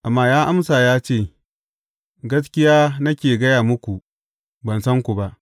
Amma ya amsa ya ce, Gaskiya nake gaya muku, ban san ku ba.’